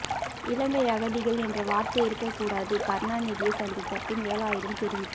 இலங்கை அகதிகள் என்ற வார்த்தை இருக்க கூடாது கருணாநிதியை சந்தித்த பின் வேலாயுதம் தெரிவிப்பு